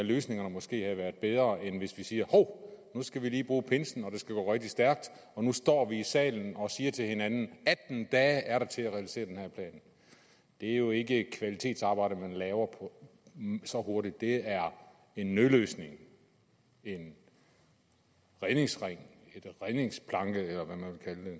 løsningerne måske havde været bedre end når vi siger hov nu skal vi lige bruge pinsen og det skal gå rigtig stærkt og nu står vi i salen og siger til hinanden atten dage er der til at realisere den her plan det er jo ikke kvalitetsarbejde man laver så hurtigt det er en nødløsning en redningsring en redningsplanke det